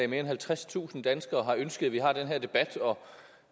mere end halvtredstusind danskere har ønsket at vi har den her debat og